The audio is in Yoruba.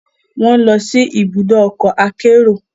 Wọn nlọ si ibùdó ọkọ akero